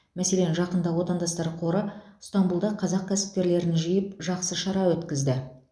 мәселен жақында отандастар қоры ыстанбұлда қазақ кәсіпкерлерін жиып жақсы шара өткізді